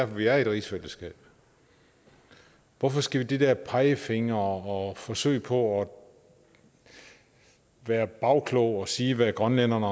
vi er i et rigsfællesskab hvorfor skal de der pegefingre og forsøg på at være bagklog og sige hvad grønlænderne